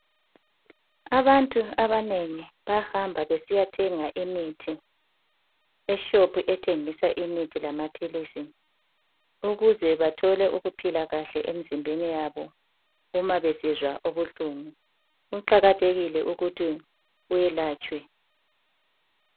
Abantu abanengi bayahamba besiyathenga imithi eshopu ethengisa imithi lamaphilisi ukuze bathole ukuphila kahle emzimbeni wabo uma besizwa ubuhlungu. Kuqakathekile ukuthi welatshwe.